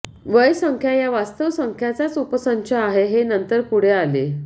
व्यय संख्या या वास्तव संख्यांचाच उपसंच आहे हे नंतर पुढे आले